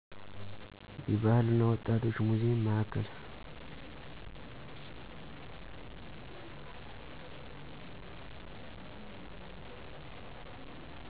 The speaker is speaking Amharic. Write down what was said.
የባህል እና ወጣቶች ሙዜም ማዕከል